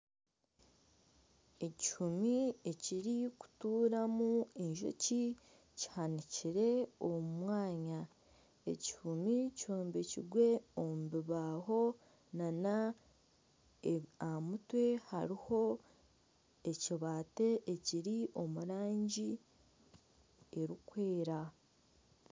Ekihumi ekirikuturamu enjoki kihanikire omumwanya. Ekihumi kyombekirwe omubibaho. Ahamutwe hariho ekibati ekiri omurangi erikwera.